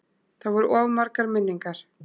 Það voru of margar minningar.